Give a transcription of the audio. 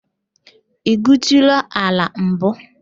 I gwuutula ala mbu?